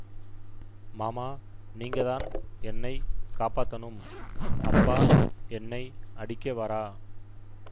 மாமா நீங்கதான் என்னை காப்பாத்தணும் அப்பா என்னை அடிக்க வரா